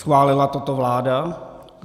Schválila toto vláda?